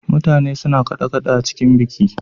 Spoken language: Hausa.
Mutane suna kaɗe- kaɗe a cikin biki.